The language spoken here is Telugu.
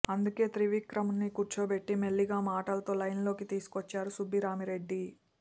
అందుకే త్రివిక్రమ్ని కూర్చోబెట్టి మెల్లిగా మాటలతో లైన్లోకి తీసుకొచ్చారు సుబ్బిరామిరెడ్డి